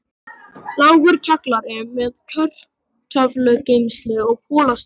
Lágur kjallari með kartöflugeymslu og kolastíu.